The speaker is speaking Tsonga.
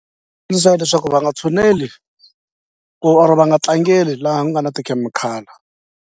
leswaku va nga tshuneli ku or va nga tlangeli laha ku nga na tikhemikhala.